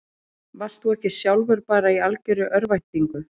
Varst þú ekki sjálfur bara í algjörri örvæntingu?